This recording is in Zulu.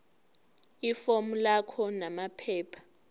ifomu lakho namaphepha